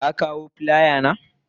Ka kawo filaya na?